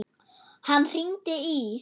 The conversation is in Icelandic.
Hann hringdi í